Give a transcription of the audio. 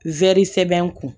sɛbɛn kun